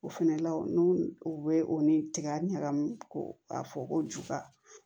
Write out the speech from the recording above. O fɛnɛ la n'u u bɛ o ni tiga ɲagami k'o a fɔ ko juga